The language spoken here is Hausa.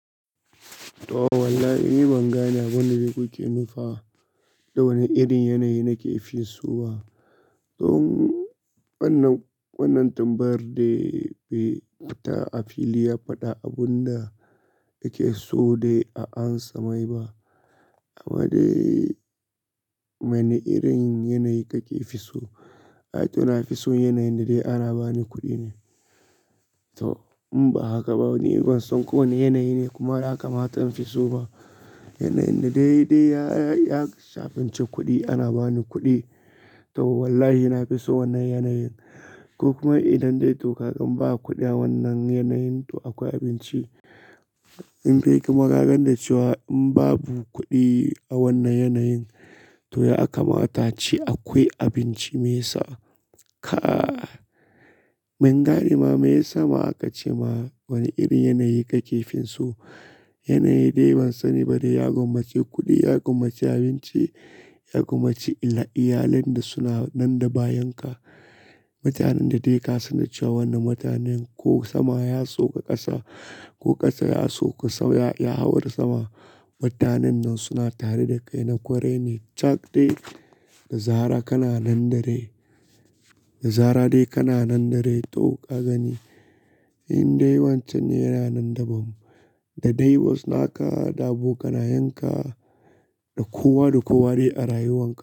To, wallahi ni ban gane abun da kuke nufa da wane irin yanayi nake fi so ba. Tun wannan, wannan tambayar dai bai fita a fili ya faɗa abun da yake so dai a ansa maiba. Amma dai wane irin yanayi kake so? Ai to na fi so yanayin da dai ana bani kuɗi ne. To in ba haka ba ni ban san ko wane yanayi ne kuma aka mata in fi so ba. Yanayin da dai dai ya, ya shafi cin kuɗi ana bani kuɗi. To wallahi na fi so wannan yanayin. Ko kuma idan dai to ka gan ba kuɗi a wannan yanayin to akwai abinci. In bai yi magagan da cewa in babu kuɗi a wannan yanayin to ya aka mata ce akwai abinci mai isa. Ka! Men gare ma me ya sa ma aka ce ma wani irin yanayi ka ke finsu? Yanayi dai ban sani ba dai ya kuma ci kuɗi, ya kuma ci abinci, ya kuma ci iyalen da suna nan da bayanka. Mutanen da dai ka san da cewa wannan mutanen ko sama ya soƙa ƙasa, ko ƙasa ya soƙa sama, ya hau da sama. Mutanen nan suna tare da kai na kwarai ne. Cak dai da zarar kana nan da rai. Da zara dai kana nan da rai. To ka gani, indai wancin ne yana nan da mu. Da dai wasu naka da abokanayenka da kowa da kowa dai a rayuwanka.